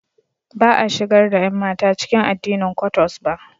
Ba a shigar da ƴanmata cikin addinin Kwottos ba.